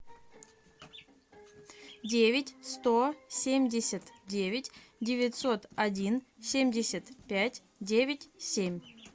девять сто семьдесят девять девятьсот один семьдесят пять девять семь